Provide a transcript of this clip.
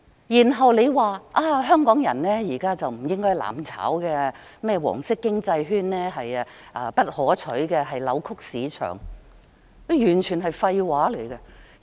然後，他說香港人現在不應"攬炒"，"黃色經濟圈"不可取，扭曲市場，這完全是廢話。